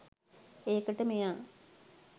ඒකට මෙයා